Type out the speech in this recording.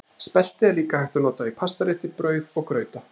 Spelti er líka hægt að nota í pastarétti, brauð og grauta.